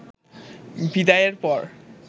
বিদায়ের পর